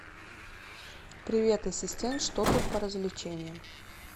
привет ассистент что тут по развлечениям